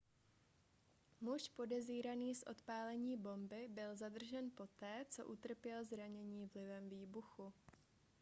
muž podezíraný z odpálení bomby byl zadržen poté co utrpěl zranění vlivem výbuchu